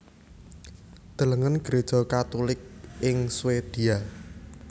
Delengen Gréja Katulik ing Swedia